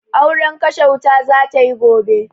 Auren kashe wuta za ta yi gobe.